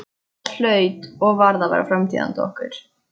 Það hlaut og varð að vera framtíð handa okkur.